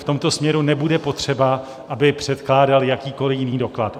V tomto směru nebude potřeba, aby předkládal jakýkoliv jiný doklad.